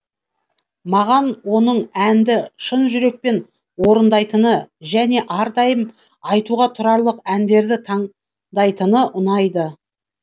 маған оның әнді шын жүрекпен орындайтыны және әрдайым айтуға тұрарлық әндерді таңдайтыны ұнайды